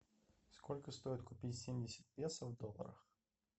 сколько стоит купить семьдесят песо в долларах